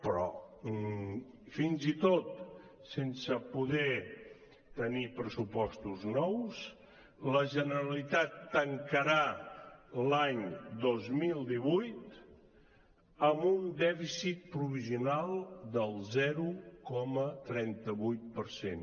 però fins i tot sense poder tenir pressupostos nous la generalitat tancarà l’any dos mil divuit amb un dèficit provisional del zero coma trenta vuit per cent